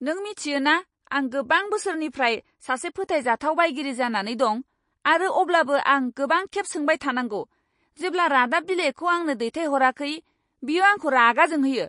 नों मिथियो ना, आं गोबां बोसोरनिफ्राय सासे फोथायजाथाव बायगिरि जानानै दं, आरो अब्लाबो आं गोबांखेब सोंबाय थानांगौ, जेब्ला रादाब बिलाइखौ आंनो दैथायहराखै। बियो आंखौ रागा जोंहोयो!